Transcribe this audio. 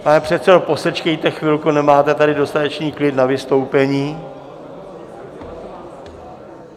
Pane předsedo, posečkejte chvilku, nemáte tady dostatečný klid na vystoupení.